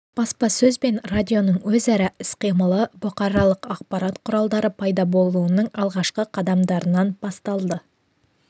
баспасөз бен радионың өзара іс-қимылы бұқаралық ақпарат құралдары пайда болуының алғашқы қадамдарынан басталды